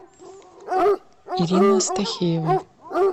ирина стахеева